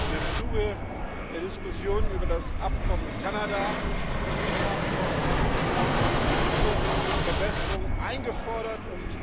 Und im Zuge der Diskussionen über das Abkommen mit Kanada, das CETA Abkommen, haben wir genau diese Verbesserungen eingefordert und